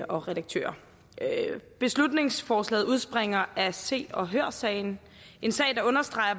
og redaktører beslutningsforslaget udspringer af se og hør sagen en sag der understreger